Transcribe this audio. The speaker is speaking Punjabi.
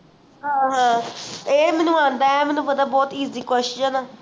ਹਾਂ ਹਾਂ ਐ ਮੈਨੂੰ ਆਂਦਾ ਹੈ ਐ ਮੈਨੂੰ ਪਤਾ ਹੈ ਬਹੁਤ easy question